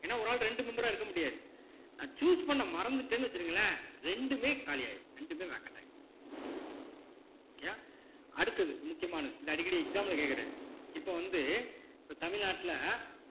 ஏன்னா ஒரு ஆள் இரண்டு member ஆ இருக்க முடியாது நான் choose பண்ண மறந்துட்டேன்னு வச்சுருங்களேன் இரண்டுமே காலியாயிரும் இரண்டுமே vacant ஆயிரும் okay யா அடுத்தது முக்கியமானது இந்த அடிக்கடி exam ல கேக்குறது இப்ப வந்து இப்ப தமிழ்நாட்டுல